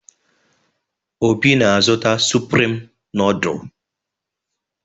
Obi na-azụta Suprim nọọdụ.